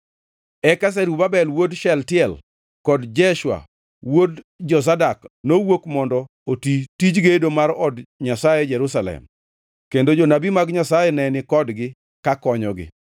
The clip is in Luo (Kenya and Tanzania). Eka Zerubabel wuod Shealtiel kod Jeshua wuod Jozadak nowuok mondo oti tij gedo mar od Nyasaye e Jerusalem. Kendo jonabi mag Nyasaye ne ni kodgi, kakonyogi.